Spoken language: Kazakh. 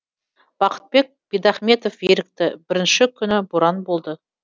бақытбек бидахметов ерікті бірінші күні боран болды